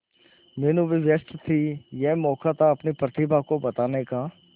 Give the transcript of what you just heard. मीनू भी व्यस्त थी यह मौका था अपनी प्रतिभा को बताने का